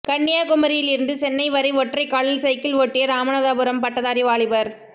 கன்னியாகுமரியில் இருந்து சென்னை வரை ஒற்றைக்காலில் சைக்கிள் ஓட்டிய ராமநாதபுரம் பட்டதாரி வாலிபர்